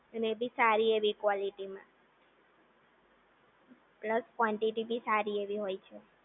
અને એ ભી સારી એવી કોલેટી માં પ્લસ કોન્ટીટી બી સારી એવી હોય છે